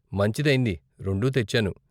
మంచిదైంది, రెండూ తెచ్చాను.